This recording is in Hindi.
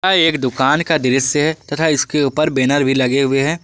यह एक दुकान का दृश्य है तथा इसके ऊपर बैनर भी लगे हुए हैं।